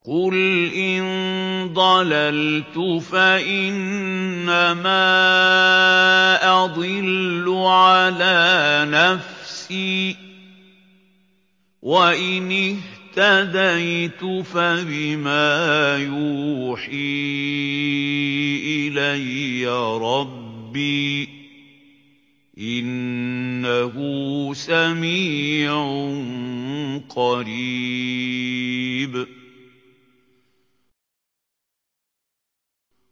قُلْ إِن ضَلَلْتُ فَإِنَّمَا أَضِلُّ عَلَىٰ نَفْسِي ۖ وَإِنِ اهْتَدَيْتُ فَبِمَا يُوحِي إِلَيَّ رَبِّي ۚ إِنَّهُ سَمِيعٌ قَرِيبٌ